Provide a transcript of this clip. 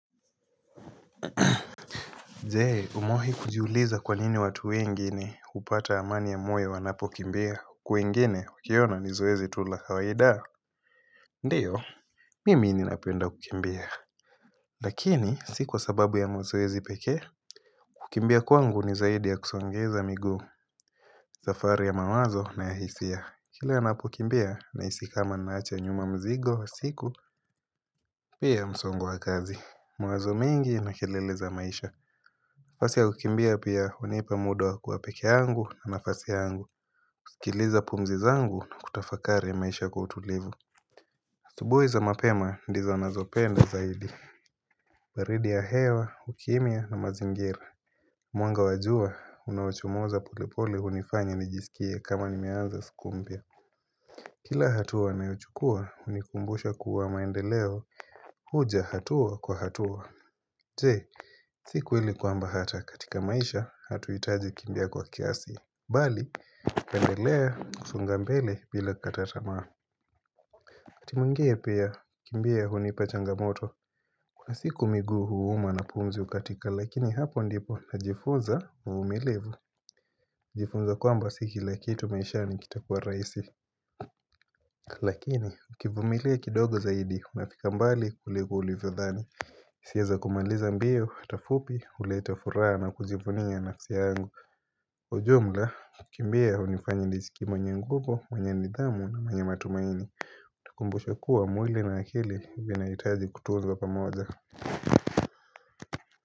Je umewahi kujiuliza kwa nini watu wengine hupata amani ya moyo wanapokimbia Kwa wengine ukiona ni zoezi tu la kawaida? Ndio, mimi ninapenda kukimbia Lakini si kwa sababu ya mazoezi pekee kukimbia kwangu ni zaidi ya kusongeza miguu safari ya mawazo na ya hisia. Kile ninapokimbia nahisi kama ninaacha nyuma mzigo wa siku pia msongo wa kazi. Mawazo mengi yana kelele za maisha nafasi ya kukimbia pia hunipa muda wa kuwa peke yangu kwa nafasi yangu. Nasikiliza pumzi zangu na kutafakari maisha kwa utulivu. Asubuhi za mapema ndizo ninazopenda zaidi baridi ya hewa, ukimya na mazingira Mwanga wa jua unaochomoza polepole hunifanya nijisikie kama nimeaanza siku mpya. Kila hatua nayo chukua hunikumbusha kuwa maendeleo huja hatua kwa hatua. Je, si kweli kwamba hata katika maisha hatuhitaji kukimbia kwa kiasi bali, tuendelee kusonga mbele bila kukata tamaa. Wakati mwingine pia, kukimbia hunipa changamoto. Kuna siku miguu huuma na pumzi hukatika lakini hapo ndipo najifunza uvumilivu. Najifunza kwamba si kila kitu maishani kitakua rahisi. Lakini, ukivumilia kidogo zaidi, unafika mbali kuliko ulivyodhani Nikieza kumaliza mbio hata fupi huleta furaha na kujivunia nafsi yangu. Ujumla kukimbia hunifanya nijisikie mwenye nguvu, mwenye nidhamu na mwenye matumaini. Utakumbushwa kuwa mwili na akili vinahitaji kutunzwa pamoja.